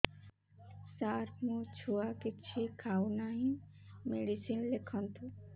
ସାର ମୋ ଛୁଆ କିଛି ଖାଉ ନାହିଁ ମେଡିସିନ ଲେଖନ୍ତୁ